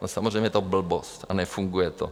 No, samozřejmě je to blbost a nefunguje to.